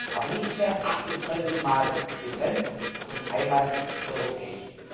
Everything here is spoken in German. Aber nicht mehr 28 mal getrennt, sondern einmal europäisch.